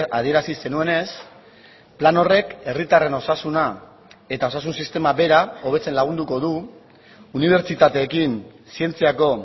adierazi zenuenez plan horrek herritarren osasuna eta osasun sistema bera hobetzen lagunduko du unibertsitateekin zientziako